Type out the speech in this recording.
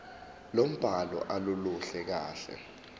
lombhalo aluluhle kahle